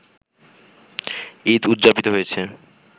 ঈদ উদযাপিত হয়েছে